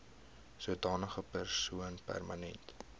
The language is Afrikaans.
sodanige persoon permanent